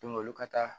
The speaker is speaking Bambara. olu ka taa